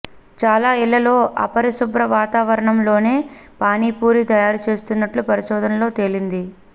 చాలా ఇళ్లలో అపరిశుభ్ర వాతావరణంలోనే పానీ పూరీ తయారుచేస్తున్నట్లు పరిశోధనలో తేలింది